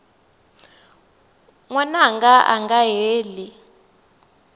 n wananga a nga heli